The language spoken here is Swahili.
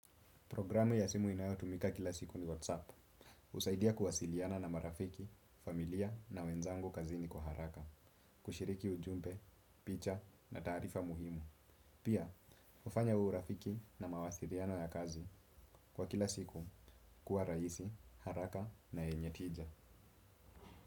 Programu ya simu inayotumika kila siku ni whatsApp. Usaidia kuwasiliana na marafiki, familia na wenzangu kazini kwa haraka. Kushiriki ujumpe, picha na tarifa muhimu. Pia, ufanya urafiki na mawasiliano ya kazi kwa kila siku kuwa raisi, haraka na enye tija.